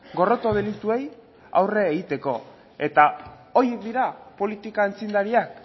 gorroto delituei aurre egiteko eta horiek dira politika aitzindariak